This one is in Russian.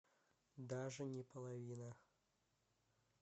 даже не половина